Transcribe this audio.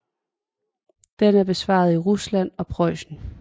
Den er bevaret i Rusland og Preussen